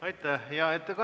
Aitäh!